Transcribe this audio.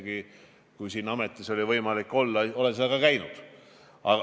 Ja kui mul oli võimalik siin ametis olla, siis ma ka käisin seal.